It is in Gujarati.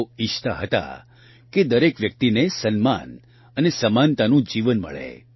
તેઓ ઇચ્છતા હતા કે દરેક વ્યક્તિને સન્માન અને સમાનતાનું જીવન મળે